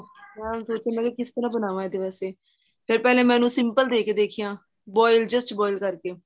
ਮੈਂ ਹੁਣ ਸੋਚ ਰਹੀ ਹਾਂ ਕਿਸ ਤਰ੍ਹਾਂ ਬਨਵਾ ਇਹਦੇ ਵਾਸਤੇ ਫ਼ੇਰ ਪਹਿਲੇ ਮੈਂ ਇਹਨੂੰ simple ਦੇ ਕੇ ਦੇਖੀਆਂ boil just boil ਕਰਕੇ